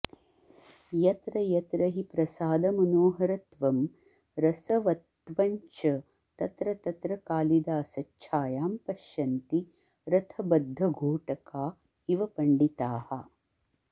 यत्र यत्र हि प्रसादमनोहरत्वं रसवत्त्वञ्च तत्र तत्र कालिदासच्छायां पश्यन्ति रथबद्धघोटका इव पण्डिताः